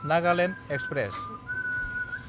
Nagaland express